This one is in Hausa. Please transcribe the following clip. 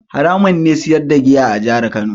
Haramun ne siyar da giya a jihar Kano.